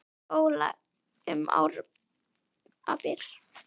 Óla um árabil.